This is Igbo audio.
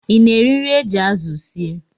Ị na-eri nri e ji azụ sie